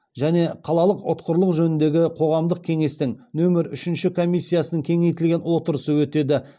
және қалалық ұтқырлық жөніндегі қоғамдық кеңестің нөмір үшінші комиссиясының кеңейтілген отырысы өтеді